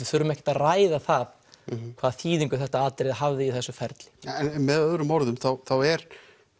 þurfum ekkert að ræða það hvaða þýðingu þetta atriði hafði í þessu ferli en með öðrum orðum þá er